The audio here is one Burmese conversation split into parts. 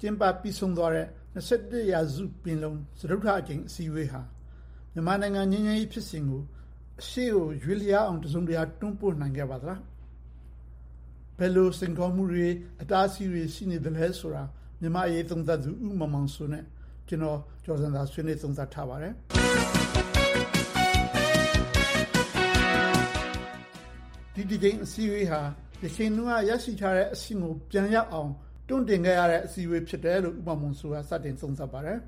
ကျင်းပပြီးဆုံးသွားတဲ့ ရာစုပင်လုံညီလာခံ စတုတ္ထအစည်းအဝေးဟာ မြန်မာနိုင်ငံ ငြိမ်းချမ်းရေးဖြစ်စဉ် ရှေ့ကိုရွေ့အောင် တစုံတရာ တွန်းပို့နိုင်ခဲ့ပါသလား၊ ဒီလိုရွေ့နိုင်ဖို့အတွက် ဘယ်လို အတားအဆီးတွေ အခက်အခဲတွေ ရှိနေပါသလဲ။ မြန်မာ့အရေးသုံးသပ်သူ ဦးမောင်မောင်စိုးနဲ့ ဦးကျော်ဇံသာတို့ ဆွေးနွေးသုံးသပ်ထားပါတယ်။ ဒီတကြိမ်အစည်းအဝေးဟာ တချိန်တုန်းက ရရှိထားတဲ့အဆင့်ကို ပြန်ရအောင် တွန်းတင်ခဲ့ရတဲ့ အစည်းအဝေးဖြစ်တယ်လို့ ဦးမောင်မောင်စိုးက စတင်သုံးသပ်ပါတယ်။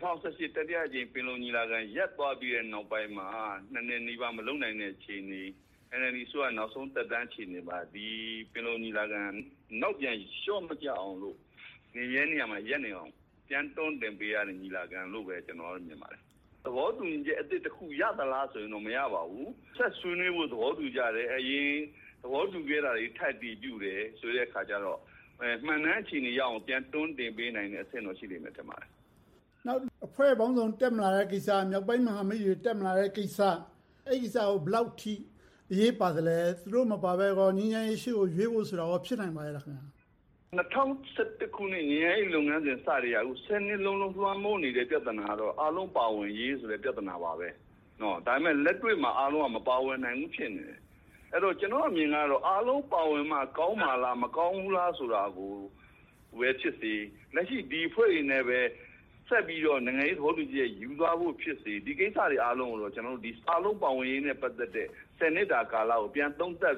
၂၀၁၈ တတိယအကြိမ် ပင်လုံညီလာခံ ရပ်သွားပြီးတဲ့နောက်ပိုင်းမှာ နှစ်နီးပါး မလုပ်နိုင်တဲ့ အခြေအနေ၊ NLD နောက်ဆုံးသက်တမ်း အခြေအနေမှာ ပင်လုံညီလာခံ နောက်ပြန်လျှောမကျအောင်လို့ နေမြဲနေရာမှာ ရပ်နေအောင် ပြန်တွန်းတင်ပေးရတဲ့ ညီလာခံလို့ပဲ ကျနော်က မြင်ပါတယ်။ သဘောတူညီချက်တစ်ခု ရသလားဆိုရင်တော့ မရပါဘူး။ ဆက်ဆွေးနွေးကြဖို့ သဘောတူညီကြတယ်။ အရင်သဘောတူခဲ့တာတွေ ထပ်အတည်ပြုတယ်ဆိုတဲ့အခါကြတော့ မှန်နန်းအခြေအနေ ပြန်တွန်းတင်ပေးတဲ့ အဆင့်တော့ ရှိလိမ့်မယ် ထင်ပါတယ်။ နောက်အဖွဲ့ပေါင်းစုံ တက်မလာတဲ့ကိစ္စ၊ မြောက်ပိုင်းမဟာမိတ်တွေ တက်မလာတဲ့ကိစ္စ။ အဲဒီကိစ္စတွေကို ဘယ်လောက်အထိ အရေးပါသလဲ။ သူတို့မပါဘဲ ငြိမ်းချမ်းရေး ရှေ့ကိုရွေ့ဖို့ဆိုတာ ဖြစ်နိုင်ပါရဲ့လား။ ၂၀၁၁ ခုနှစ် ငြိမ်းချမ်းရေးလုပ်ငန်းစဉ် စကတည်းက နှစ်လုံးလုံး လွှမ်းမိုးနေတဲ့ ပြဿနာကတော့ အားလုံးပါဝင်ရေးဆိုတဲ့ ပြဿနာပါ။ ဒါပေမဲ့ လက်တွေ့မှာ အားလုံးက မပါဝင်နိုင်ဘူး ဖြစ်နေတယ်။ အဲဒီတော့ ကျနော့်အမြင်ကတော့ အားလုံးပါဝင်မှ ကောင်းမှာလား၊ မကောင်းဘူးလား ဆိုတာကိုပဲဖြစ်စေ။ လက်ရှိ ဒီအဖွဲ့တွေနဲ့ပဲ ဆက်ပြီးတော့ နိုင်ငံရေးသဘောတူညီချက် ယူသွားဖို့ဖြစ်စေ။ ဒီကိစ္စတွေအားလုံးကိုတော့ ကျနော်တို့ အားလုံးပါဝင်ရေးနဲ့ ပတ်သက်တဲ့ နှစ်တာကာလကို ပြန်သုံးသပ်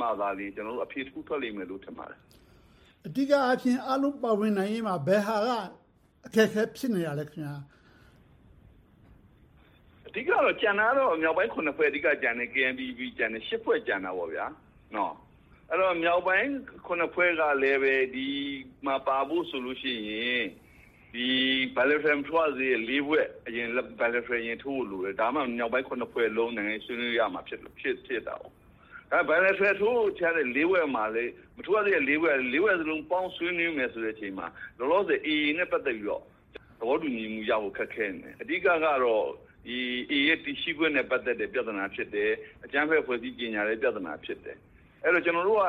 မှသာလျှင် ကျနော်တို့ အဖြေတစ်ခုထွက်လိမ့်မယ် ထင်ပါတယ်။ အဓိကအားဖြင့် အားလုံးပါဝင်နိုင်ရေးမှာ ဘယ်ဟာက အခက်အခဲ ဖြစ်နေတာလဲ။ အဓိကတော့ ကျန်တာကတော့ မြောက်ပိုင်း ဖွဲ့ ကျန်တယ်။ KNPP ကျန်တယ်။ ရှစ်ဖွဲ့ကျန်တာပေါ့။ အဲဒီတော့ မြောက်ပိုင်း ဖွဲ့ကလဲ ဒီမှာပါဖို့ဆိုလို့ရှိရင် bilateral မထိုးရသေးတဲ့ ဖွဲ့ အရင် bilateral ထိုးဖို့လိုတယ်။ ဒါမှ မြောက်ပိုင်း ဖွဲ့လုံးနဲ့ ဆွေးနွေးလို့ရမှာ ဖြစ်တယ်။ ဒါပေမဲ့ bilateral ထိုးဖို့ကျန်နေတဲ့ ဖွဲ့မှာလဲ မထိုးရသေးတဲ့ ဖွဲ့ ပေါင်းဆွေးနွေးမယ်ဆိုတဲ့ အချိန်မှာ လောလောဆယ် AA နဲ့ ပတ်သက်ပြီးတော့ သဘောတူညီချက်ရဖို့ ခက်ခဲနေတယ်။ အဓိကတော့ AA ရဲ့ တည်ရှိခွင့်နဲ့ ပတ်သက်တဲ့ ပြဿနာ ဖြစ်တယ်။ အကြမ်းဖက်အဖွဲ့အစည်း ကြေညာတဲ့ ပြဿနာ ဖြစ်တယ်။ အဲဒီတော့ ကျနော်တို့က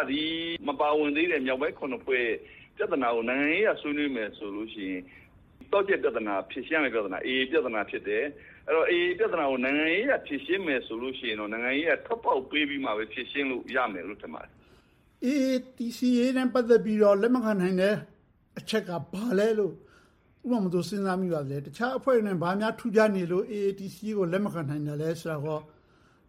မပါဝင်သေးတဲ့ မြောက်ပိုင်း ဖွဲ့နဲ့ ပြဿနာတွေကို နိုင်ငံရေးအရ ဆွေးနွေးမယ်ဆိုလို့ရှိရင် သော့ချက်ပြဿနာ ဖြေရှင်းရမယ့် ပြဿနာက AA ပြဿနာ ဖြစ်တယ်။ AA ပြဿနာကို နိုင်ငံရေးအရ ဖြေရှင်းမယ်ဆိုလို့ရှိရင်တော့ နိုင်ငံရေးအရ ထွက်ပေါက်ပေးပြီးမှ ဖြေရှင်းလို့ရမယ်လို့ မြင်ပါတယ်။ AA တည်ရှိရေးနဲ့ ပတ်သက်ပြီးတော့ လက်မခံနိုင်တဲ့ အချက်က ဘာလဲလို့ ဦးမောင်မောင်စိုး စဉ်းစားမိပါသလဲ။ တခြားအဖွဲ့တွေနဲ့ ဘာများထူးခြားနေလို့ AA တည်ရှိရေးကို လက်မခံနိုင်သလဲဆိုတာကို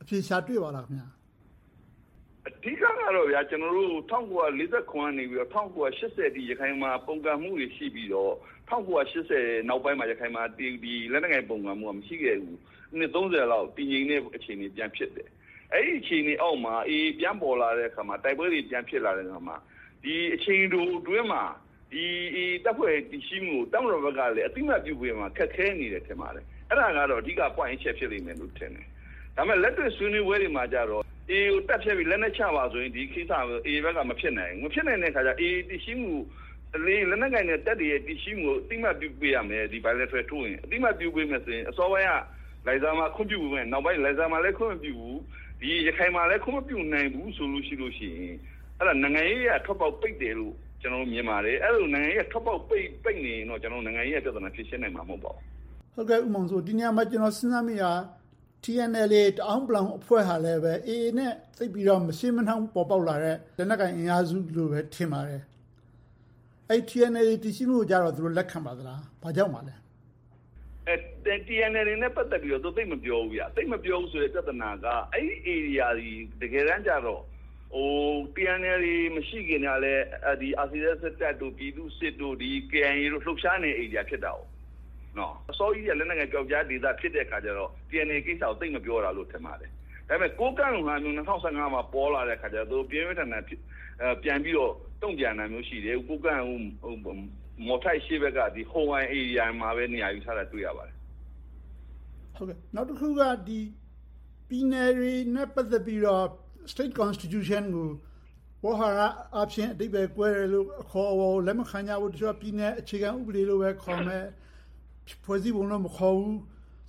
အဖြေရှာတွေ့ပါသလား။ အဓိကတော့ ၁၉၄၇ ကနေ ၁၉၈၀ အထိ ရခိုင်မှာ ပုန်ကန်မှုတွေ ရှိပြီးတော့၊ ၁၉၈၀ နောက်ပိုင်းမှာ ရခိုင်မှာ လက်နက်ကိုင် ပုန်ကန်မှုက မရှိခဲ့ဘူး။ နှစ်ပေါင်း လောက် တည်ငြိမ်တဲ့ အခြေအနေ ပြန်ဖြစ်တယ်။ အဲဒီအခြေအနေအောက်မှာ AA ပြန်ပေါ်လာတဲ့အခါမှာ တိုက်ပွဲတွေ ပြန်ဖြစ်လာတဲ့အခါမှာ ဒီအချိန်တိုအတွင်းမှာ AA တပ်ဖွဲ့တည်ရှိမှုကို တပ်မတော်ဘက်ကလဲ အသိအမှတ်ပြုပေးရမှာကို ခက်ခဲနေတယ် ထင်ပါတယ်။ အဲဒါကတော့ အဓိကအချက် ဖြစ်လိမ့်မယ်လို့ ထင်တယ်။ ဒါပေမဲ့ လက်တွေ့ဆွေးနွေးပွဲတွေမှာတော့ AA ကို တပ်ဖျက်ပြီး၊ လက်နက်ချပါဆိုရင် AA ဘက်က မဖြစ်နိုင်ဘူး။ မဖြစ်နိုင်တဲ့အခါကြတော့ AA တည်ရှိမှုနဲ့ အရင် လက်နက်ကိုင်တပ်တွေရဲ့ တည်ရှိပေးရမယ်။ bilateral လက်မှတ်ထိုးရင်၊ အသိအမှတ်ပြုမယ်ဆိုရင် အစောပိုင်းက လိုင်ဇာမှာ ခွင့်ပြုပေးမယ့်၊ လိုင်ဇာမှာလဲ ခွင့်မပြုဘူး။ ရခိုင်မှာလဲ ခွင့်မပြုနိုင်ဘူးဆိုရင် အဲဒါ နိုင်ငံရေးအရ ထွက်ပေါက်ပိတ်တယ်လို့ ကျနော်က မြင်ပါတယ်။ အဲဒီလို နိုင်ငံရေးအရ ထွက်ပေါက်ပိတ်နေရင်တော့ ကျနော်တို့ နိုင်ငံရေးအရ ဖြေရှင်းနိုင်မှာ မဟုတ်ပါဘူး။ ဒီနေရာမှာ ကျနော် စဉ်းစားမိတာက TNLA တအောင်းဝ် အဖွဲ့ဟာ AA နဲ့ မရှေ့မနှောင်း ပေါ်ပေါက်လာတဲ့ လက်နက်ကိုင်အင်အားစုလို့ပဲ ထင်ပါတယ်။ အဲဒီ TNLA တည်ရှိမှုကို သူတို့ လက်ခံပါသလား။ ဘာကြောင့်ပါလဲ။ TNLA နဲ့ ပတ်သက်ပြီးတော့ သူတို့သိပ်မပြောဘူး။ သိပ်မပြောဘူးဆိုတဲ့ ပြဿနာက အဲဒီဧရိယာသည် တကယ်တမ်းကြတော့ TNLA မရှိခင်ကလဲ၊ RCSS တပ်တို့၊ ပြည်သူ့စစ်၊ KIA တို့ လှုပ်ရှားနေတဲ့နေရာ ဖြစ်တယ်။ အစောကြီးကတည်းက လက်နက်ကိုင်ပျောက်ကျားဒေသ ဖြစ်တဲ့အခါကြတော့ TNLA ကိစ္စကို သိပ်မပြောတာလို့ ထင်ပါတယ်။ ဒါပေမဲ့ ကိုးကန့်လို့ဟာမျိုး ၂၀၁၅ မှာ ပေါ်လာတော့ သူတို့ ပြင်းပြင်းထန်ထန် တုံ့ပြန်တာမျိုး ရှိတယ်။ ကိုးကန့်က မော်ထိုက်အရှေ့ဘက်က ဟိုအိုင်ဧရိယာမှာပဲ နေရာယူထားတာကို တွေ့ရပါတယ်။ နောက်တစ်ခုက ပြည်နယ်တွေနဲ့ ပတ်သက်ပြီးတော့ State Constitution ကို ဝေါဟာရအားဖြင့် အဓိပ္ပါယ်ကွဲတယ်၊ အခေါ်အဝေါ်ကို လက်မခံကြဖို့၊ တချို့က ပြည်နယ်အခြေခံဥပဒေလို့ပဲခေါ်မယ်။ ဖွဲ့စည်းပုံလို့တော့ မခေါ်ဘူး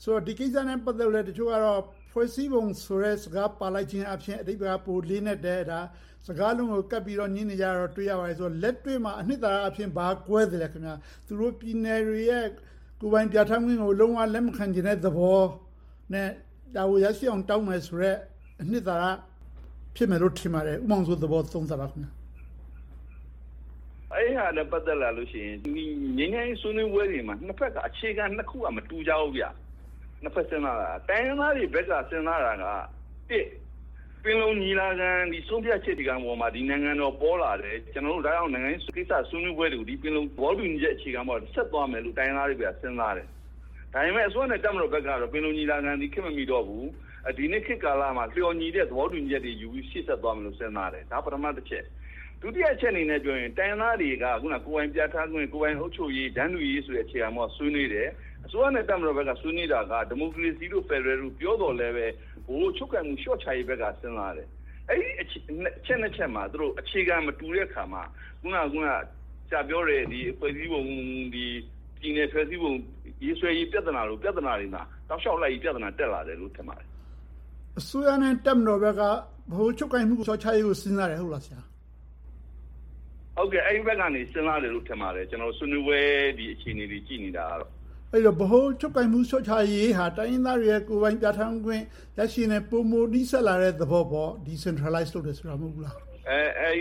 ဆိုတဲ့ ဒီကိစ္စနဲ့ ပတ်သက်ပြီးတော့လဲ တချို့ကတော့ ဖွဲ့စည်းပုံဆိုတဲ့စကား ပါလိုက်ခြင်းအားဖြင့် အဓိပ္ပါယ်က ပိုလေးနက်တယ်။ စကားလုံးတွေကို ကပ်ပြီးတော့ ငြင်းနေကြတာကို တွေ့ရတယ်။ လက်တွေ့မှာ အနစ်သာရအားဖြင့် ဘာတွေကွဲသလဲ။ သူတို့ ပြည်နယ်တွေရဲ့ ကိုယ်ပိုင်ပြဌာန်းခွင့်ကို လုံးဝလက်မခံချင်တဲ့သဘောနဲ့ ဒါကိုရရှိအောင် တောင်းမယ်ဆိုတဲ့ အနစ်သာရ ဖြစ်မယ်လို့ ထင်ပါတယ်။ ဦးမောင်မောင်စိုးရဲ့ သဘောကို သုံးသပ်ပေးပါ။ အဲဒါနဲ့ ပတ်သက်လာလို့ရှိရင် ငြိမ်းချမ်းရေးဆွေးနွေးပွဲတွေမှာ နှစ်ဘက်က အခြေခံနှစ်ခုက မတူကြဘူး။ နှစ်ဘက်စဉ်းစားတာက - တိုင်းရင်းသားတွေဘက်က စဉ်းစားတာက ပင်လုံညီလာခံ ဆုံးဖြတ်ချက်တွေပေါ်မှာ ဒီနိုင်ငံတော် ပေါ်လာတယ်။ ဒါကြောင့် ကျနော်တို့ နိုင်ငံရေးဆွေးနွေးပွဲတွေကို ပင်လုံ သဘောတူညီချက် အခြေခံပေါ်ကနေ ဆက်သွားမယ်လို့ တိုင်းရင်းသားတွေဘက်က စဉ်းစားတယ်။ ဒါပေမဲ့ အစိုးရနဲ့ တပ်မတော်ဘက်ကတော့ ပင်လုံညီလာခံသည် ခေတ်မမီတော့ဘူး။ ဒီနေ့ခေတ်ကာလမှာ လျော်ညီတဲ့ သဘောတူညီချက်တွေ ယူပြီးတော့ ရှေ့ဆက်သွားမယ်လို့ စဉ်းစားတယ်။ ဒါက ပထမတစ်ချက်။ ဒုတိယအချက်အနေနဲ့ ပြောမယ်ဆိုရင် တိုင်းရင်းသားတွေက ကိုယ်ပိုင်ပြဌာန်းခွင့်၊ ကိုယ်ပိုင်အုပ်ချုပ်ရေး၊ တန်းတူရေးဆိုတဲ့ပေါ်က ဆွေးနွေးတယ်။ အစိုးရနဲ့ တပ်မတော်ဘက်က ဆွေးနွေးတာက ဒီမိုကရေစီတို့၊ ဖယ်ဒရယ်တို့ ပြောသော်လဲ ဗဟိုချုပ်ကိုင်မှု လျှော့ချရေးဘက်က စဉ်းစားတယ်။ အဲဒီအချက် ချက်မှာ သူတို့ အခြေခံမတူတဲ့အခါမှာ အခုန ဆရာပြောတဲ့ ဖွဲ့စည်းပုံ၊ ပြည်နယ်ဖွဲ့စည်းပုံ ရေးဆွဲရေးပြဿနာတွေမှာ တောက်လျှောက်လိုက်ပြီ ပြဿနာ တက်လာတယ်လို့ ထင်ပါတယ်။ အစိုးရနဲ့ တပ်မတော်ဘက်က ဗဟိုချုပ်ကိုင်မှု လျှော့ချရေးကို စဉ်းစားတယ်ဆိုတာ ဟုတ်ပါသလား။ အဲဒီဘက်ကနေ စဉ်းစားတယ်လို့ ထင်ပါတယ်။ ဆွေးနွေးပွဲ အခြေအနေတွေ ကြည့်နေတာကတော့။ အဲဒီတော့ ဗဟိုချုပ်ကိုင်မှု လျှော့ချရေးဟာ တိုင်းရင်းသားတွေရဲ့ ကိုယ်ပိုင်ပြဌာန်းခွင့် ရရှိရေးနဲ့ ပိုမိုနီးစပ်လာတဲ့ သဘောပေါ့။ Decentralized လုပ်တယ်ဆိုတာ မဟုတ်ဘူးလား။ အာ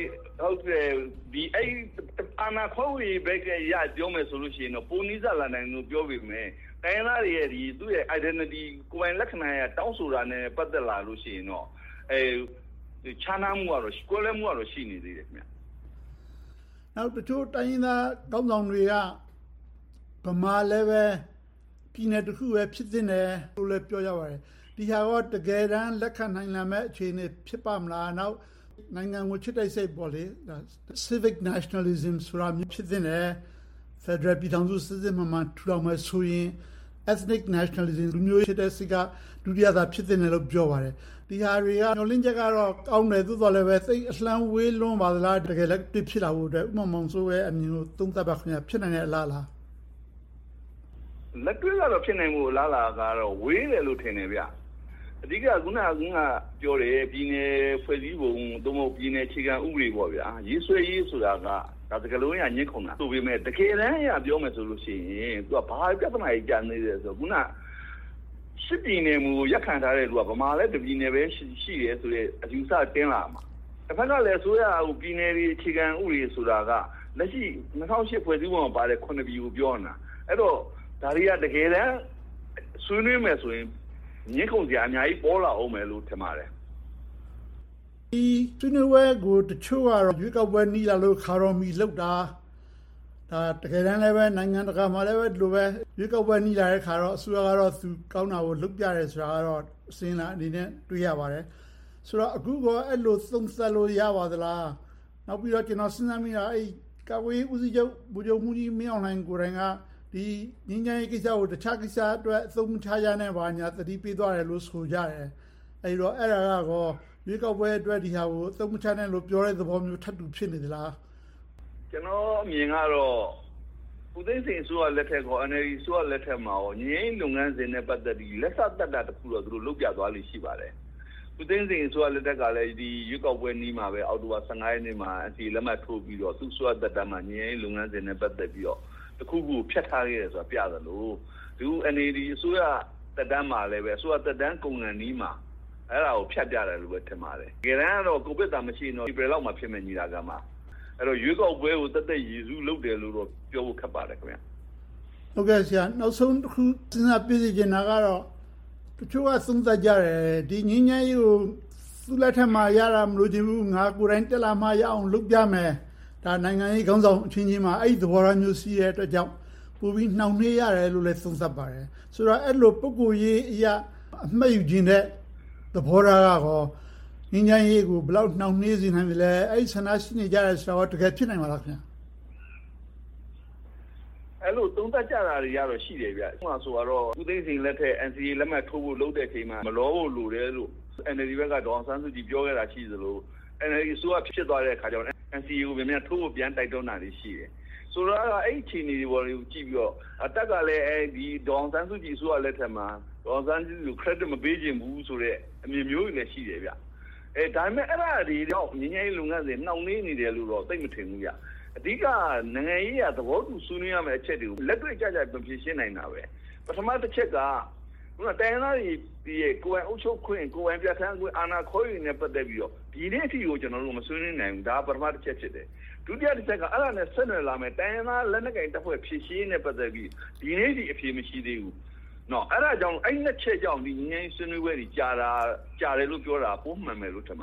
ဏာခွဲဝေရေးဘက်ကနေ ပြောမယ်ဆိုရင်တော့ ပိုနီးစပ်လာတယ်လို့ ပြောပေမယ့် တိုင်းရင်းသားတွေရဲ့ identity ကိုယ်ပိုင်လက္ခဏာ တောင်းဆိုတာနဲ့ ပတ်သက်လာလို့ ရှိရင်တော့ ခြားနား၊ ကွဲလွဲမှုကတော့ ရှိနေသေးတယ်။ နောက်တချို့တိုင်းရင်းသားခေါင်းဆောင်တွေက ဗမာလည်းပဲ ပြည်နယ်တစ်ခုပဲ ဖြစ်သင့်တယ်လို့ ပြောကြပါတယ်။ ဒီဟာကို တကယ်တမ်း လက်ခံနိုင်မယ့် အခြေအနေ ဖြစ်ပါ့မလား။ နောက်နိုင်ငံကို ချစ်တဲ့စိတ် - Civi Nationalism ဆိုတာမျိုး ဖြစ်သင့်တယ်။ ဖယ်ဒရယ်ပြည်ထောင်စု စစ်စစ်မှန်မှန် ထူထောင်မယ်ဆိုရင် Ethnic Nationalism လူမျိုးစိတ်က ဒုတိယသာ ဖြစ်သင့်တယ်လို့ ပြောပါတယ်။ ဒီဟာတွေက မျှော်လင့်ချက်ကတော့ ကောင်းတယ်။ သို့သော်လဲပဲ သိပ်အလှမ်းဝေးလွန်ပါသလား။ တကယ်လက်တွေ့ ဖြစ်လာဖို့အတွက် ဦးမောင်မောင်စိုးအမြင်ကို သုံးသပ်ပါ။ ဖြစ်နိုင်မယ့် အလားအလာ။ လက်တွေ့ကတော့ ဖြစ်နိုင်မယ့်အလားအလာ ဝေးတယ်လို့ ထင်ပါတယ်။ အဓိက အခုနပြောတဲ့ ပြည်နယ်ဖွဲ့စည်းပုံ၊ ပြည်နယ်အခြေခံဥပဒေ ရေးဆွဲရေးဆိုတာက စကားလုံးအရ ငြင်းဆိုကြတယ်ဆိုပေမယ့် တကယ်တမ်းအရ ပြောမယ်ဆိုရင် ဘာပြဿနာတွေ ကျန်သေးသလဲဆိုရင် အဓိက ရှစ်ပြည်နယ်မူကို ရပ်တည်ထားတဲ့လူက ဗမာလည်း တစ်ပြည်နယ်ပဲ ရှိတယ်ဆိုတဲ့ အယူအဆ တင်လာမှာ။ တဘက်ကလဲ အစိုးရက ပြည်နယ်တွေ အခြေခံဥပဒေဆိုတာက လက်ရှိ ၂၀၀၈ ဖွဲ့စည်းပုံမှာပါတဲ့ ပြည်နယ်ကို ပြောနေတာ။ အဲဒီတော့ ဒါတွေက တကယ်တမ်း ဆွေးနွေးမယ်ဆိုရင် ငြင်းခုန်စရာ အများကြီးပေါ်လာအုံးမယ်လို့ ထင်ပါတယ်။ ဒီဆွေးနွေးပွဲကို တချို့ကတော့ ရွေးကောက်ပွဲနီးလာလို့ ခါတော်မီလုပ်တာ။ တကယ်တမ်းလဲ နိုင်ငံတကာမှာလဲ ဒီလိုပဲ ရွေးကောက်ပွဲနီးလာတဲ့အခါ အစိုးရက သူကောင်းတာကို လုပ်ပြတယ်ဆိုတာကတော့ အစဉ်အလာအနေနဲ့ တွေ့ရပါတယ်။ ဆိုတော့ အခုကော အဲဒီလို သုံးသပ်လို့ ရပါသလား။ နောက်ပြီးတော့ ကျနော် စဉ်းစားမိတာက ကာကွယ်ရေးဦးစီးချုပ် ဗိုလ်ချုပ်မှူးကြီးမင်းအောင်လှိုင် ကိုယ်တိုင်က ငြိမ်းချမ်းရေးကိစ္စကို အခြားကိစ္စအတွက် အသုံးမချနဲ့ ဘာညာ သတိပေးသွားတယ်လို့ အဲဒီတော့ အဲဒါက ရွေးကောက်ပွဲအတွက် ဒီဟာကို အသုံးမချနဲ့လို့ ပြောတဲ့သဘောမျိုး ထပ်တူဖြစ်နေသလား။ ကျနော့်အမြင်ကတော့ ဦးသိန်းစိန်အစိုးရလက်ထက်နဲ့ NLD အစိုးရလက်ထက်တို့မှာ ငြိမ်းချမ်းရေးလုပ်ငန်းစဉ်နဲ့ ပတ်သက်ပြီး လက်စသတ်တာတစ်ခုတော့ လုပ်ပြသွားတာ ရှိပါတယ်။ ဦးသိန်းစိန်အစိုးရလက်ထက်ကလဲ ရွေးကောက်ပွဲနီးမှပဲ အောက်တိုဘာ ရက်နေ့မှာ လက်မှတ်ထိုးပြီးတော့ သူ့အစိုးရသက်တမ်းမှာ ငြိမ်းချမ်းရေးလုပ်ငန်းစဉ်နဲ့ ပတ်သက်ပြီးတော့ တစ်ခုခုကို ဖြတ်ထားခဲ့တယ်ဆိုတာကို ပြသလို။ အခု NLD အစိုးရ သက်တမ်းမှာလဲ အစိုးရသက်တမ်း ကုန်ခါနီးမှာ အဲဒါကို ဖြတ်ပြတယ်လို့ပဲ ထင်ပါတယ်။ တကယ်တမ်းတော့ ကိုဗစ်သာ မရှိဘူးဆိုရင်တော့ ဧပြီလလောက်မှာဖြစ်မယ့် ညီလာခံပါ။ အဲဒီတော့ ရွေးကောက်ပွဲကို သက်သက်ကြီး ရည်းစူးလုပ်တယ်လို့တော့ ပြောရခက်ပါတယ်။ နောက်ဆုံးတစ်ခု စဉ်းစားပေးစေချင်တာကတော့ တချို့က သုံးသပ်ကြတယ်။ ဒီငြိမ်းချမ်းရေးကို သူ့လက်ထက်မှာရတာ မလိုချင်ဘူး။ ငါကိုယ်တိုင် တက်လာမှရအောင် လုပ်ပြမယ်။ ဒါနိုင်ငံရေးခေါင်းဆောင်အချင်းချင်း အဲဒီလိုသဘောထားမျိုး ရှိတဲ့အတွက်ကြောင့် ပိုပြီးနှောင့်နှေးရတယ်လို့လဲ သုံးသပ်ပါတယ်။ အဲဒီလို ပုဂ္ဂိုလ်အရ အမှတ်ယူချင်တဲ့ သဘောထားက ငြိမ်းချမ်းရေးကို ဘယ်လောက်နှောင့်နှေးစေနိုင်သလဲ။ အဲဒီဆန္ဒရှိနေကြတယ်ဆိုတာ တကယ်ဖြစ်နိုင်ပါ့မလား။ အဲဒီလို သုံးသပ်ကြတာတွေကတော့ ရှိပါတယ်။ ဥပမာ ဦးသိန်းစိန်လက်ထက် NCA လက်မှတ်ထိုးတဲ့အချိန်မှာ မလောဖို့လိုတယ်လို့ NLD ဘက်က ဒေါ်အောင်ဆန်းစုကြည် ပြောခဲ့တာ ရှိသလို။ NLD အစိုးရ ဖြစ်သွားတဲ့အခါမှာ NCA ကို မြန်မြန်ထိုးဖို့ တိုက်တွန်းတာတွေ ရှိတယ်။ ဆိုတော့ အဲဒီအခြေအနေတွေကို ကြည့်ပြီးတော့ တပ်ကလဲ ဒေါ်အောင်ဆန်းစုကြည် အစိုးရလက်ထက်မှာ ဒေါ်အောင်ဆန်းစုကြည်ကို Credit မပေးချင်ဘူးဆိုတဲ့ အမြင်မျိုးတွေလဲ ရှိတယ်။ ဒါပေမဲ့ အဲဒါတွေကြောင့် ငြိမ်းချမ်းရေးလုပ်ငန်းစဉ် နှောင့်နှေးနေတယ်လို့တော့ သိပ်မထင်ဘူး။ အဓိက နိုင်ငံရေးအရ သဘောတူ ဆွေးနွေးရမယ့်အချက်တွေကို လက်တွေ့ကျကျ မဖြေရှင်းနို်င်တာပဲ။ ပထမတစ်ချက်က တိုင်းရင်းသားတွေတောင်းတဲ့ ကိုယ်ပိုင်အုပ်ချုပ်ခွင့်၊ ကိုယ်ပိုင်ပြဌာန်းခွင့်၊ အာဏာခွဲ့ဝေရေးနဲ့ ပတ်သက်ပြီးတော့ ဒီနေ့အထိကို ကျနော်တို့ မဆွေးနွေးနိုင်ဘူး။ ဒါက ပထမတစ်ချက် ဖြစ်တယ်။ ဒုတိယတစ်ချက်က အဲဒါနဲ့ ဆက်နွှယ်လာမယ့် တိုင်းရင်းသားလက်နက်ကိုင်တပ်ဖွဲ့ ဖြေရှင်းရေးနဲ့ ပတ်သက်ပြီး ဒီနေ့အထိ အဖြေမရှိသေးဘူး။ အဲဒီနှစ်ချက်ကြောင့် ငြိမ်းချမ်းရေးဆွေးနွေးပွဲတွေ ကြာတယ်လို့ပြောတာ ပိုမှန်မယ်လို့ ထင်ပါ